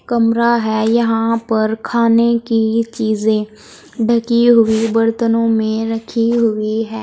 कमरा है। यहां पर खाने की चीजें ढ़की हुई बर्तनों में रखी हुई है।